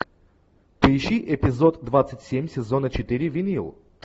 поищи эпизод двадцать семь сезона четыре винил